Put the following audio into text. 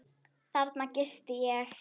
Þarna gisti ég.